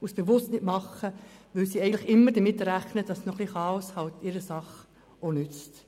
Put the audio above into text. was sie bewusst nicht tun, weil sie damit rechnen, dass ein bisschen Chaos ihrer Sache nützt.